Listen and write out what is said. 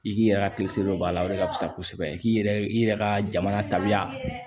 I k'i yɛrɛ ka don a la o de ka fisa kosɛbɛ k'i yɛrɛ i yɛrɛ ka jamana tabiya